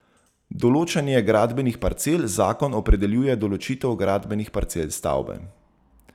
Določanje gradbenih parcel Zakon opredeljuje določitev gradbenih parcel stavbe.